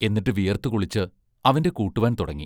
എന്നിട്ട് വിയർത്തു കുളിച്ച് അവന്റെ കൂട്ടുവാൻ തുടങ്ങി.